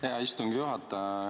Hea istungi juhataja!